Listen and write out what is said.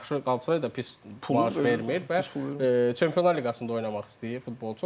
Həm də yaxşı da pis pul vermir və Çempionlar liqasında oynamaq istəyir futbolçu.